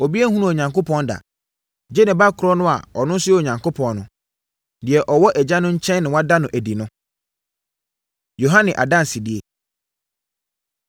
Obiara nhunuu Onyankopɔn da, gye ne Ba korɔ no a ɔno nso yɛ Onyankopɔn no, deɛ ɔwɔ Agya no nkyɛn na wada no adi no. Yohane Adansedie